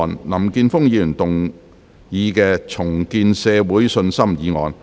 林健鋒議員動議的"重建社會信心"議案。